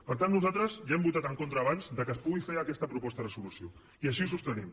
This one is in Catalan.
per tant nosaltres ja hem votat en contra abans que es pugui fer aquesta proposta de resolució i així ho sostenim